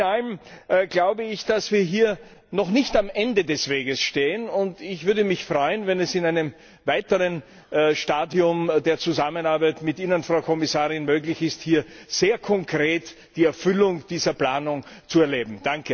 Alles in allem glaube ich, dass wir hier noch nicht am Ende des Weges stehen, und ich würde mich freuen, wenn es in einem weiteren Stadium der Zusammenarbeit mit Ihnen, Frau Kommissarin, möglich wäre, hier sehr konkret die Erfüllung dieser Planung zu erleben.